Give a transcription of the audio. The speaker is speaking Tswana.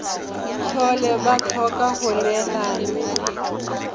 tlhole ba tlhoka go neelana